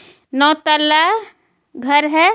नौ तल्ला घर है.